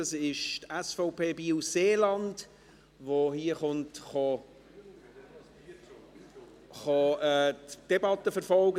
Es ist die SVP Biel-Seeland, die heute die Debatte verfolgt.